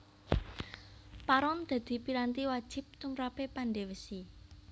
Paron dadi piranti wajib tumrape pandhe wesi